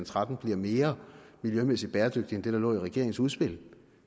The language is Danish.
tretten bliver mere miljømæssigt bæredygtig end det der lå i regeringens udspil